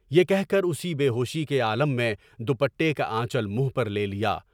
یہ کہہ کر اسی بے ہوشی کے عالم میں دوپٹے کا آنچل منہ پر لے لیا۔